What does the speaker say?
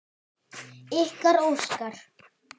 Ykkar, Óskar.